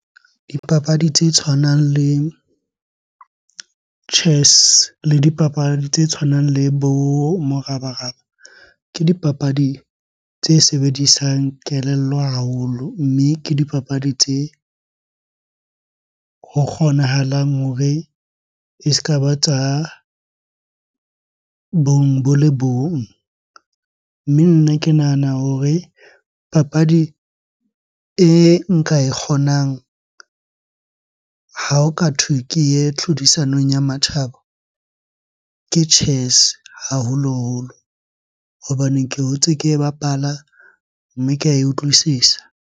Dipapadi tse tshwanang le chess le dipapadi tse tshwanang le bo morabaraba, ke dipapadi tse sebedisang kelello haholo. Mme ke dipapadi tse ho kgonahalang hore e ska ba tsa bong bo le bong. Mme nna ke nahana hore papadi e nka e kgonang ha ho ka thwe ke ye tlhodisanong ya matjhaba, ke chess haholoholo. Hobaneng ke hotse ke e bapala, mme ke ae utlwisisa.